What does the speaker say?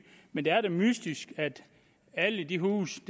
men det er da mystisk at i alle de huse